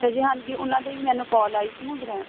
ਅੱਛਾ ਜੀ ਹਾਂਜੀ ਉਹਨਾ ਦੀ ਮੈਨੂੰ call ਆਈ ਸੀ ਨਾ ਗਰੈ